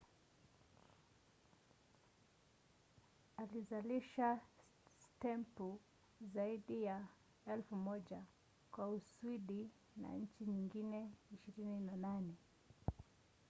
alizalisha stempu zaidi ya 1,000 kwa uswidi na nchi nyingine 28